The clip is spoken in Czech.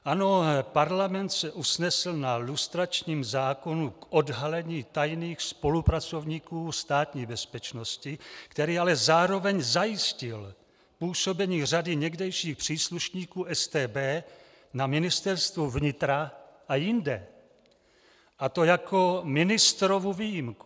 Ano, Parlament se usnesl na lustračním zákonu k odhalení tajných spolupracovníku Státní bezpečnosti, který ale zároveň zajistil působení řady někdejších příslušníků StB na Ministerstvu vnitra a jinde, a to jako ministrovu výjimku.